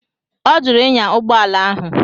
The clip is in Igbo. Ọ jụrụ ịnya ụgbọala ahụ.